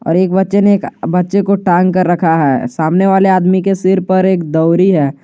और एक बच्चे ने एक बच्चे को टांग कर रखा है सामने वाले आदमी के सिर पर एक दवरी है।